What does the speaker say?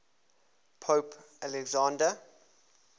pope alexander